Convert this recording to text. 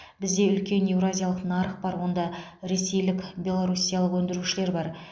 бізде үлкен еуразиялық нарық бар онда ресейлік белоруссиялық өндірушілер бар